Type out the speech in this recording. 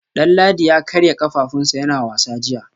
Danladi ya karya kafafunsa yana wasa jiya